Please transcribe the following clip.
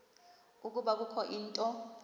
ukuba kukho into